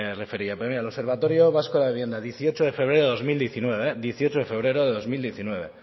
refería pero mira el observatorio vasco de vivienda dieciocho de febrero de dos mil diecinueve